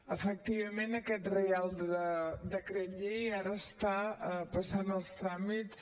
efectivament aquest reial decret llei ara està passant els tràmits